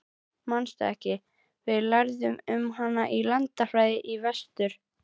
Manstu ekki, við lærðum um hana í landafræðinni í vetur?